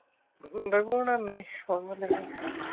ਰਘੂ ਨਾਲ ਨਹੀਂ ਉਹਨੂੰ ਦਿਨ ਹੋਗੇ।